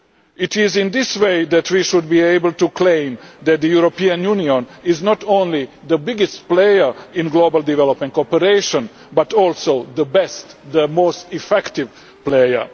It is in this way that we should be able to claim that the European Union is not only the biggest player in global development cooperation, but also the best the most effective player.